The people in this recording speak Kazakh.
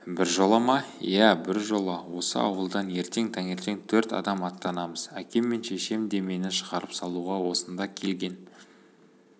біржола ма иә біржола осы ауылдан ертең таңертең төрт адам аттанамыз әкем мен шешем де мені шығарып салуға осында келген